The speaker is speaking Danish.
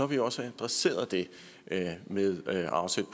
vi også adresseret det med at afsætte